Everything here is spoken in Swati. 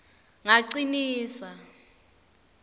ngacinisa